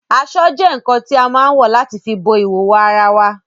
Aṣọ́ jẹ́ ǹǹkan tí a má ǹ wọ̀ láti fi bo ìhòòhò ara wae